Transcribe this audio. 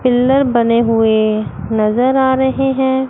Pillar बने हुए नजर आ रहे हैं।